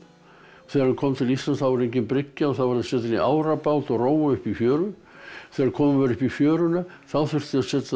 þegar það kom til Íslands var engin bryggja setja upp árabát og róa upp í fjöru þegar komið var upp í fjöruna þá þurfti að